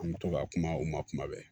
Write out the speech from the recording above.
An bɛ to ka kuma u ma kuma bɛɛ